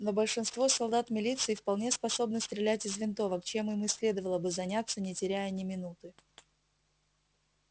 но большинство солдат милиции вполне способны стрелять из винтовок чем им и следовало бы заняться не теряя ни минуты